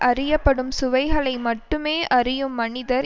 அறியப்படும் சுவைகளை மட்டுமே அறியும் மனிதர்